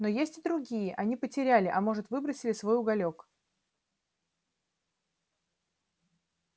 но есть и другие они потеряли а может выбросили свой уголёк